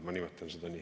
Ma nimetan seda nii.